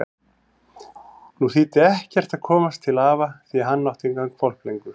Nú þýddi ekkert að komast til afa því hann átti engan hvolp lengur.